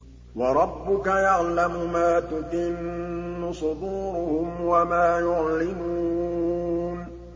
وَرَبُّكَ يَعْلَمُ مَا تُكِنُّ صُدُورُهُمْ وَمَا يُعْلِنُونَ